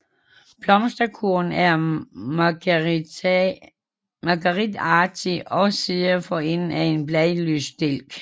Blomsterkurven er margeritagtig og sidder for enden af en bladløs stilk